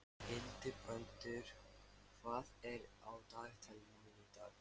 Hildibrandur, hvað er á dagatalinu mínu í dag?